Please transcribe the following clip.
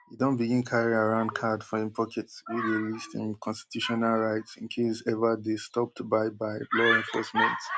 e don begin carry around card for im pocket wey dey list im constitutional rights in case ever dey stopped by by law enforcement